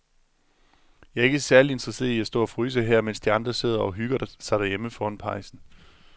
Jeg er ikke særlig interesseret i at stå og fryse her, mens de andre sidder og hygger sig derhjemme foran pejsen.